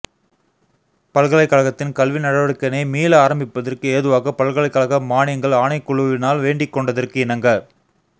பல்கலைக்கழகத்தின் கல்வி நடவடிக்கையினை மீள ஆரம்பிப்பதற்கு ஏதுவாக பல்கலைக்கழக மாணியங்கள் ஆணைக்குழுவினால் வேண்டிக்கொண்டதற்கிணங்க